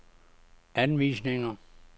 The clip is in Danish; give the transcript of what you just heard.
anvisninger